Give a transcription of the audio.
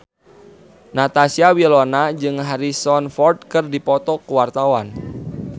Natasha Wilona jeung Harrison Ford keur dipoto ku wartawan